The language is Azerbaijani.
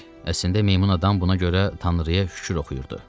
Əslində meymun adam buna görə Tanrıya şükür oxuyurdu.